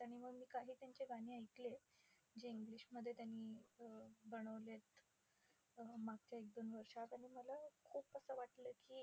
आणि मग मी काही त्याचे गाणे ऐकलेत. जे English मध्ये त्यांनी अं बनवलेत. अं मागच्या एक-दोन वर्षात. आणि मला खूप असं वाटलं की